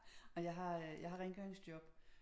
Ej jeg har øh jeg har rengøringsjob